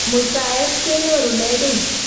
Muitaet kenyerune kiy.